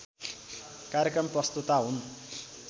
कार्यक्रम प्रस्तोता हुन्